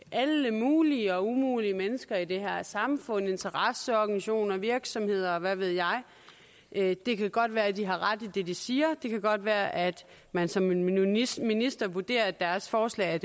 alle mulige og umulige mennesker i det her samfund interesseorganisationer virksomheder og hvad ved jeg det kan godt være de har ret i det de siger det kan godt være at man som minister minister vurderer at deres forslag